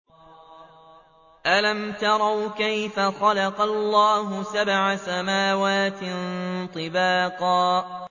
أَلَمْ تَرَوْا كَيْفَ خَلَقَ اللَّهُ سَبْعَ سَمَاوَاتٍ طِبَاقًا